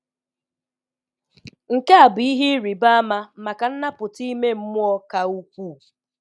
Nke a bụ ihe ịrịba ama maka nnapụta ime mmụọ ka ukwuu.